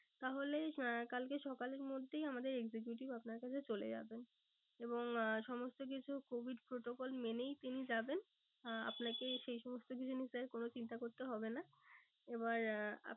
তাহলে আহ কালকে সকালের মধ্যেই আমাদের executive আপনার কাছে চলে যাবেন। এবং আহ সমস্ত কিছু covid protocol মেনেই তিনি যাবেন। আহ আপনাকে সেই সমস্ত কিছু নিয়ে sir কোনো কিছু চিন্তা করতে হবে না। এবার আহ